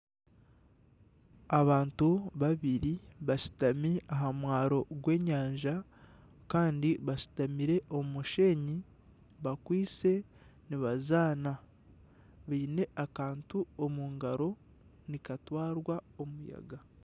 Abantu babiri bashutami aha mwaro gw'enyanja kandi bashutamire omu mushenyi bakwitse nibazaana baine akantu omu ngaro nikatwarwa omuyaga